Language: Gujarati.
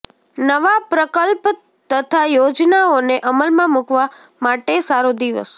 નવા પ્રકલ્પ તથા યોજનાઓને અમલમાં મુકવા માટે સારો દિવસ